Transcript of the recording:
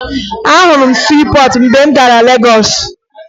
Ahụrụ m siipọọtụ mgbe m gara Legọọsụ